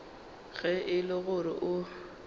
ge e le gore o